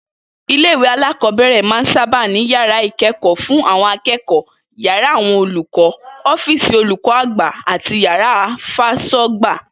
Ilé-ìwé alákò̩ó̩bè̩rè̩ máa ń sábà ní yàrá ìké̩kò̩ó̩ fáwo̩n aké̩kò̩ó̩, yàrá àwo̩n olùkó̩, ó̩fíìsì olùkó̩ àgbà àti yàrá fás̩ó̩gbà